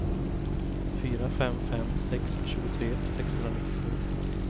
fyra fem fem sex tjugotre sexhundranittiosju